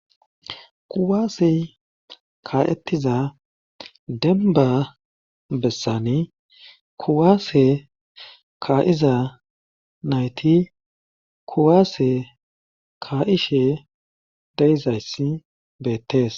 Kuwaase ka'ettiza denba bessani kuwaase ka'iza nayti kuwaase ka'ishe deizayssi beettees.